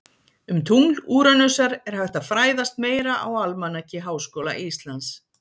Um tungl Úranusar er hægt að fræðast meira á Almanaki Háskóla Íslands